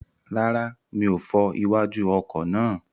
Rárá, mi ò fọ iwájú ọkọ̀ náà.